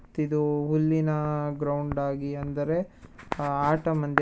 ಮತ್ತ್ ಇದು ಹುಲ್ಲಿನ ಗ್ರೌಂಡ್ ಆಗಿ ಅಂದರೆ ಆಟ ಮಂದಿ--